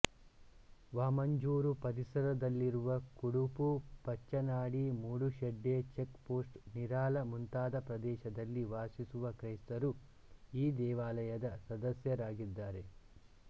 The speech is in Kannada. ವಾಮಂಜೂರು ಪರಿಸರದಲ್ಲಿರುವ ಕುಡುಪು ಪಚ್ಚನಾಡಿ ಮೂಡುಶೆಡ್ಡೆ ಚೆಕ್ ಪೋಸ್ಟ್ ನಿರಾಲ ಮುಂತಾದ ಪ್ರದೇಶದಲ್ಲಿ ವಾಸಿಸುವ ಕ್ರೈಸ್ತರು ಈ ದೇವಾಲಯದ ಸದಸ್ಯರಾಗಿದ್ದಾರೆ